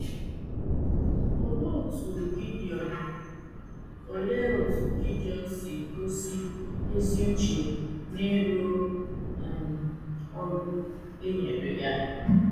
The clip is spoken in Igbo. Olee otú Gideọn Olee otú Gideọn si gosi ezi uche n’ịrụ um ọrụ e nyere ya?